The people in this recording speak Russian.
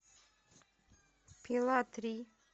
пила три